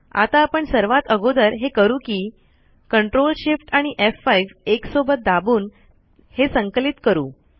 आता आपण सर्वात अगोदर हे करू कि ctrl shift आणि एफ5 एकसोबत दाबून हे संकलित करू